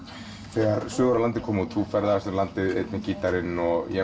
þegar sögur af landi kom út þú ferðaðist um landið einn með gítarinn og ég